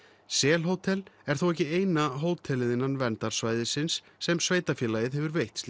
sel Hótel er þó ekki eina hótelið innan verndarsvæðisins sem sveitarfélagið hefur veitt